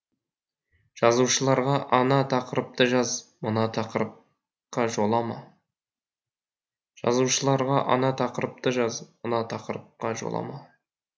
жазушыларға ана тақырыпты жаз мына тақырыпқа жолама жазушыларға ана тақырыпты жаз мына тақырыпқа жолама